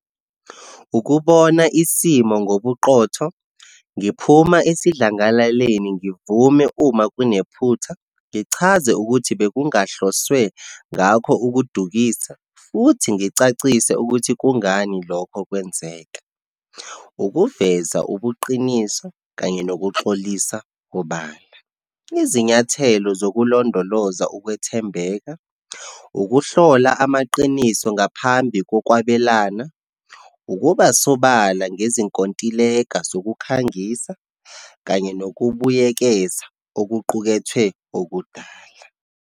Ukubona isimo ngobuqotho, ngiphuma esidlangalaleni ngivume uma kunephutha, ngichaze ukuthi bekungahloswe ngakho ukudukisa, futhi ngicacise ukuthi kungani lokho kwenzeka, ukuveza ubuqiniso, kanye nokuxolisa obala. Izinyathelo zokulondoloza ukwethembeka, ukuhlola amaqiniso ngaphambi kokwabelana, ukuba sobala ngezinkontileka zokukhangisa, kanye nokubuyekezwa okuqukethwe okudala.